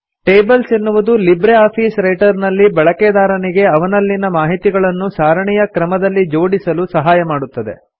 tables ಎನ್ನುವುದು LibreOffice Writer ನಲ್ಲಿ ಬಳಕೆದಾರನಿಗೆ ಅವನಲ್ಲಿನ ಮಾಹಿತಿಗಳನ್ನು ಸಾರಿಣಿಯ ಕ್ರಮದಲ್ಲಿ ಜೋಡಿಸಲು ಸಹಾಯ ಮಾಡುತ್ತದೆ